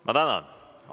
Ma tänan!